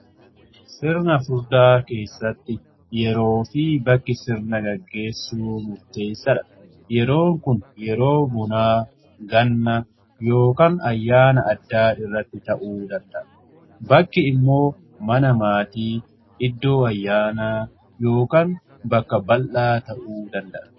sirna furdaa keessatti yeroo fi bakki sirna gaggeessuu murteessa dha. yeroon kun yeroo munaa ganna yookan ayyaana addaa irratti ta'uu danda'a. bakki immoo mana maatii iddoo ayyaana yookan bakka bal'aa ta'uu danda'a.